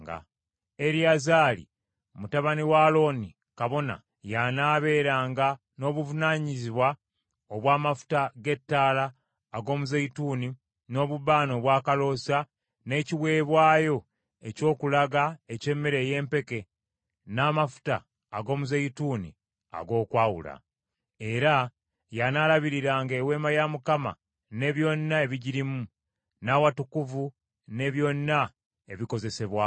“Eriyazaali, mutabani wa Alooni kabona, y’anaabeeranga n’obuvunaanyizibwa obw’amafuta g’ettaala ag’omuzeeyituuni, n’obubaane obwakaloosa, n’ekiweebwayo eky’okulaga eky’emmere ey’empeke, n’amafuta ag’omuzeeyituuni ag’okwawula. Era y’anaalabiriranga Eweema ya Mukama ne byonna ebigirimu, n’awatukuvu ne byonna ebikozesezebwamu.”